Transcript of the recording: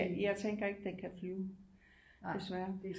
Jeg tænker ikke den kan flyve desværre